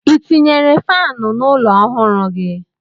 I tinyere faanụ n'ụlọ ọhụrụ gị ahụ?